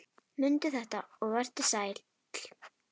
Mundu þetta og vertu sæll!